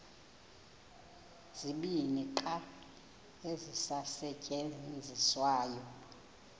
zibini qha ezisasetyenziswayo